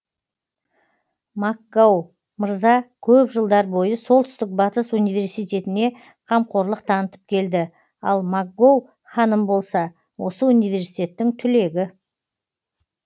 макгоу мырза көп жылдар бойы солтүстік батыс университетіне қамқорлық танытып келді ал макгоу ханым болса осы университеттің түлегі